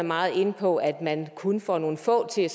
meget inde på at man kun får nogle få til